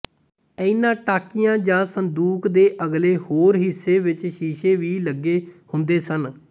ਇਹਨਾਂ ਟਾਕੀਆਂ ਜਾਂ ਸੰਦੂਕ ਦੇ ਅਗਲੇ ਹੋਰ ਹਿੱਸੇ ਵਿੱਚ ਸ਼ੀਸ਼ੇ ਵੀ ਲੱਗੇ ਹੁੰਦੇ ਸਨ